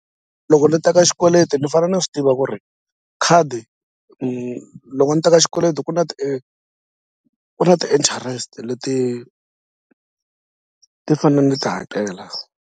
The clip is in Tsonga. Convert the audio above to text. Loko ni teka xikweleti ni fane ni swi tiva ku ri khadi loko ni teka xikweleti ku na ku na ti-interest leti ti fane ni ti hakela.